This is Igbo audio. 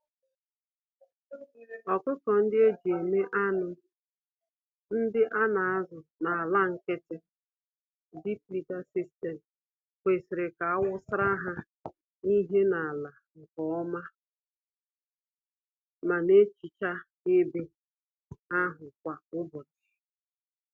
Ọkụkọ-ndị-eji-eme-anụ, ndị anazụ n'ala nkịtị, (deep liter system) kwesịrị ka awusara ha ihe n'ala nke ọma ma nehicha ebe ahụ kwa ụbọchị.